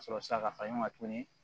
Ka sɔrɔ ka fara ɲɔgɔn kan tuguni